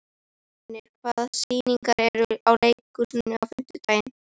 Fjörnir, hvaða sýningar eru í leikhúsinu á fimmtudaginn?